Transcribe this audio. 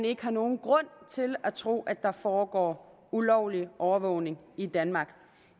ikke er nogen grund til at tro at der foregår ulovlig overvågning i danmark